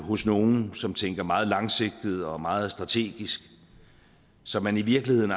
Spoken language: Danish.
hos nogle som tænker meget langsigtet og meget strategisk så man i virkeligheden